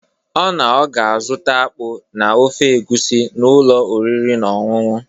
Ọ na ọ ga-azụta akpụ na ofe egwusi n’ụlọ oriri na ọñụñụ.